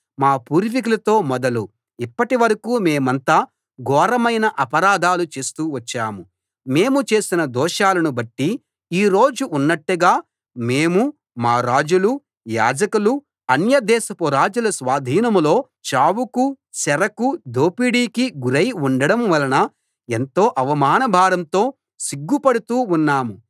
మా పూర్వీకులతో మొదలు ఇప్పటివరకూ మేమంతా ఘోరమైన అపరాధాలు చేస్తూ వచ్చాం మేము చేసిన దోషాలను బట్టి ఈ రోజు ఉన్నట్టుగా మేమూ మా రాజులూ యాజకులూ అన్యదేశపు రాజుల స్వాధీనంలో చావుకూ చెరకూ దోపిడీకీ గురై ఉండడం వలన ఎంతో అవమానభారంతో సిగ్గుపడుతూ ఉన్నాం